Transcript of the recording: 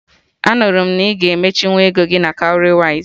Anụrụ m na ị ga-emechinwu ego gị na Cowrywise